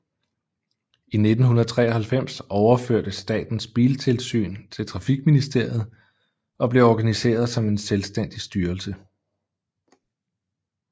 I 1993 overførtes Statens Biltilsyn til Trafikministeriet og blev organiseret som en selvstændig styrelse